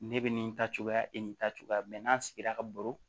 Ne bɛ nin ta cogoya e nin ta cogoya n'an sigira ka baro